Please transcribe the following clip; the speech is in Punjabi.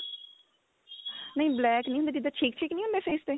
ਨਹੀਂ black ਨੀ ਜਿੱਦਾਂ ਛੇਕ ਛੇਕ ਨੀ ਹੁੰਦੇ face ਤੇ